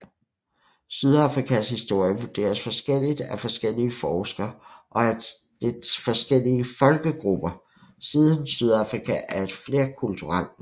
Sydafrikas historie vurderes forskellig af forskellige forskere og af dets forskellige folkegrupper siden Sydafrika er et flerkulturelt land